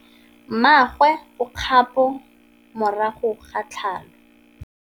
Mmagwe o kgapô morago ga tlhalô.